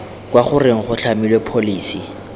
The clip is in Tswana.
kwa goreng go tlhamiwe pholesi